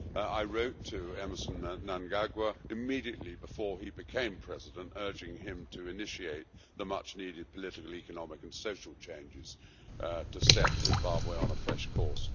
I wrote to Emerson Mnangagwa immediately before he became President urging him to initiate the much-needed political, economic and social changes to set Zimbabwe on a fresh course.